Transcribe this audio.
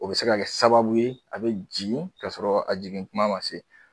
O bɛ se ka kɛ sababu ye a be jigin ka sɔrɔ, a jigin kuma ma se